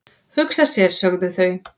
"""Hugsa sér, sögðu þau."""